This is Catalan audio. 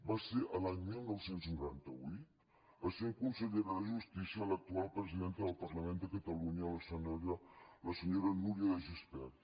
va ser l’any dinou noranta vuit essent consellera de justícia l’actual presidenta del parlament de catalunya la senyora núria de gispert